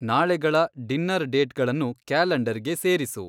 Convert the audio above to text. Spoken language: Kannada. ನಾಳೆಗಳ ಡಿನ್ನರ್ ಡೇಟ್‌ಗಳನ್ನು ಕ್ಯಾಲೆಂಡರ್‌ಗೆ ಸೇರಿಸು